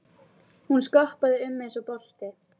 Hún skoppaði um eins og bolti.